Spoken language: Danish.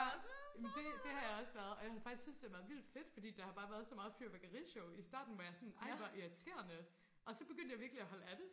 ja det det har jeg også været og jeg har faktisk syntes det har været vildt fedt fordi der har bare været så meget fyrværkerishow i starten var jeg sådan ej hvor irriterende og så begyndte jeg virkelig at holde af det